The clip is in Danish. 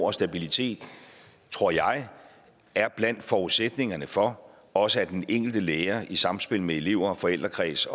og stabilitet tror jeg er blandt forudsætningerne for også den enkelte lærer i sammenspil med elever forældrekreds